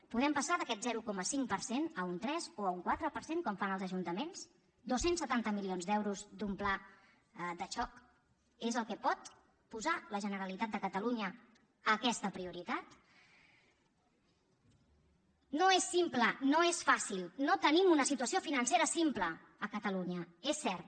podem passar d’aquest zero coma cinc per cent a un tres o un quatre per cent com fan els ajuntaments dos cents setanta milions d’euros d’un pla de xoc és el que pot posar la generalitat de catalunya a aquesta prioritat no és simple no és fàcil no tenim una situació financera simple a catalunya és cert